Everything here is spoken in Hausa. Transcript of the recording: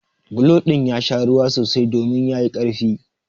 Bulo ɗin ya sha ruwa sosai domin ya yi ƙarfi.